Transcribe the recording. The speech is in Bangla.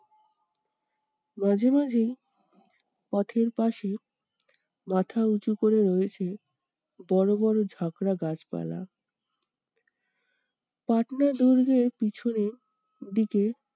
মাঝে মাঝেই পথের পাশেই মাথা উঁচু করে রয়েছেন বড়বড় ঝাঁকড়া গাছপালা। পাটনা দুর্গের পিছনের দিকে